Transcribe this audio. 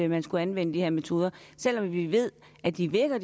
man skulle anvende de her metoder selv om vi ved at de virker